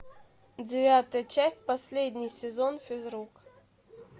девятая часть последний сезон физрук